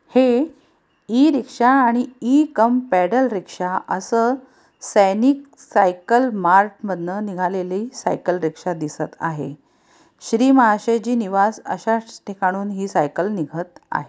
हे e rickshaw आणि ईकमपेडल रिक्शा आस सैनिक सायकल मार्ट माधला निघलेले सायकल रिक्शा दिसत आहे श्री महाशय जी निवास अश्या ठिकाण निघत आ--